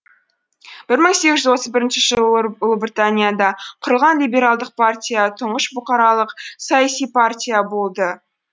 бір мың сегіз жүз отыз бірінші жылы ұлыбританияда құрылған либералдық партия тұңғыш бұқаралық саяси партия болды